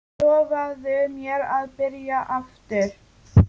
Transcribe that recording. Lofaðu mér að byrja aftur!